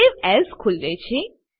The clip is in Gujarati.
સવે એએસ ખુલે છે